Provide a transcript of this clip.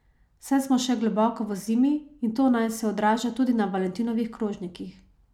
Saj smo še globoko v zimi, in to naj se odraža tudi na valentinovih krožnikih.